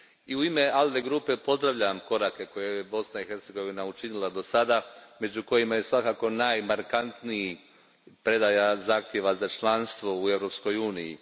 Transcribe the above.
U ime ALDE grupe pozdravljam korake koje je Bosna i Hercegovina učinila dosada, među kojima je svakako najmarkantniji predaja zahtjeva za članstvo u Europskoj uniji.